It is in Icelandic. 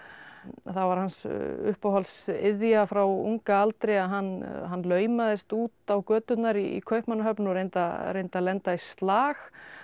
var hans uppáhalds iðja frá unga aldri að hann hann laumaðist út á göturnar í Kaupmannahöfn og reyndi að reyndi að lenda í slag